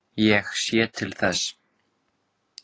Ég sé til þess.